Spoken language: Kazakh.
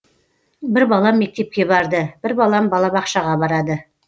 бір балам мектепке барды бір балам балабақшаға барады